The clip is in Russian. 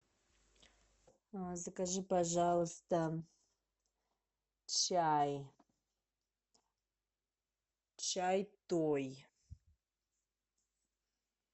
закажи пожалуйста чай чай той